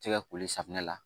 Tɛgɛ koli safinɛ la